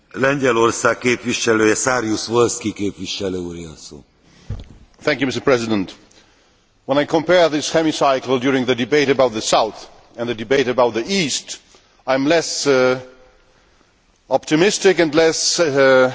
Mr President, when I compare this hemicycle during the debate about the South and the debate about the East, I am less optimistic and less able to be as optimistic as my predecessors.